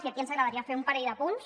i aquí ens agradaria fer un parell d’apunts